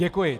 Děkuji.